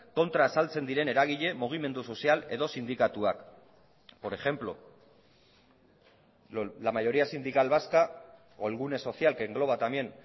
kontra azaltzen diren eragile mugimendu sozial edo sindikatuak por ejemplo la mayoría sindical vasca o el gune social que engloba también